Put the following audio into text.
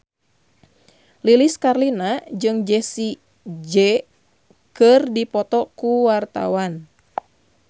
Lilis Karlina jeung Jessie J keur dipoto ku wartawan